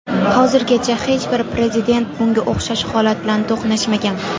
Hozirgacha hech bir Prezident bunga o‘xshash holat bilan to‘qnashmagan.